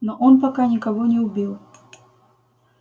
но он пока никого не убил